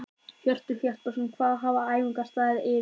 Hjörtur Hjartarson: Hvað hafa æfingar staðið yfir lengi?